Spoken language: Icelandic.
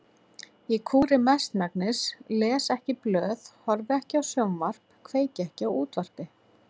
Ég kúri mestmegnis, les ekki blöð, horfi ekki á sjónvarp, kveiki ekki á útvarpi.